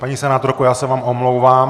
Paní senátorko, já se vám omlouvám.